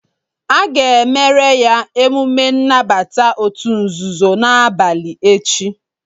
A ga-emere ya emume nnabata òtù nzuzo n'abalị echi